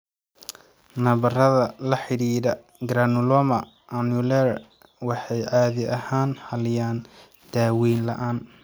Nabarrada la xidhiidha granuloma annulare waxay caadi ahaan xalliyaan daaweyn la'aan.